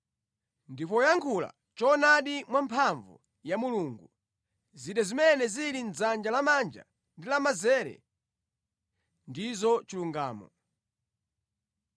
ndi poyankhula choonadi mwamphamvu ya Mulungu. Zida zimene zili mʼdzanja lamanja ndi lamanzere ndizo chilungamo.